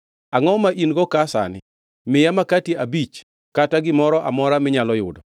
Angʼo ma in-go ka sani? Miya makati abich kata gimoro amora minyalo yudo.”